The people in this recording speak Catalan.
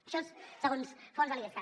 això és segons fonts de l’idescat